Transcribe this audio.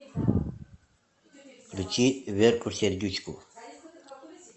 включи верку сердючку